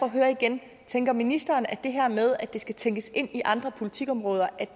at høre igen tænker ministeren at det her med at det skal tænkes ind i andre politikområder